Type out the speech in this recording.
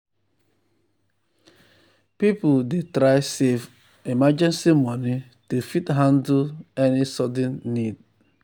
people dey try save emergency money to fit handle any sudden need.